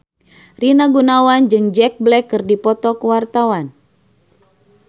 Rina Gunawan jeung Jack Black keur dipoto ku wartawan